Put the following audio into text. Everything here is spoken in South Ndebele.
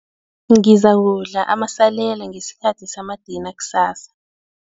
Ngizakudla amasalela ngesikhathi samadina kusasa.